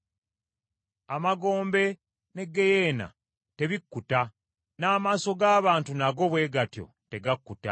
Amagombe ne ggeyeena tebikkuta, n’amaaso g’abantu nago bwe gatyo tegakkuta.